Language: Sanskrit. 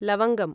लवङ्गम्